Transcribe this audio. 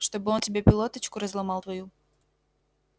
чтобы он тебе пилоточку разломал твою